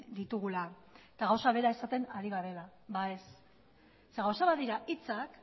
ditugula eta gauza bera esaten ari garela ba ez zeren gauza bat dira hitzak